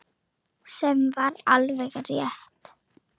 Sem var alveg rétt.